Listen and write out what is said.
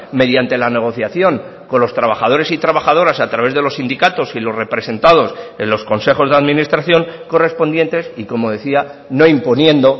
mediante la negociación con los trabajadores y trabajadoras a través de los sindicatos y los representados en los consejos de administración correspondientes y como decía no imponiendo